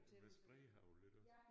Med spredehagl iggås